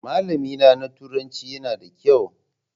Malamina na turanci yana da kyau.